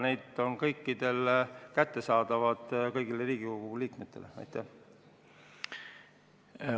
Aga need on kõikidele Riigikogu liikmetele kättesaadavad.